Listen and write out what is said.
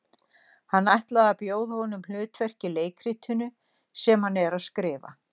Hann ætlar að bjóða honum hlutverk í leikritinu sem hann er að skrifa.